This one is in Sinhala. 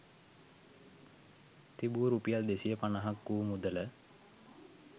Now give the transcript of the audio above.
තිබූ රුපියල් 250ක් වූ මුදල